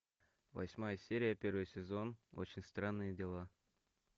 восьмая серия первый сезон очень странные дела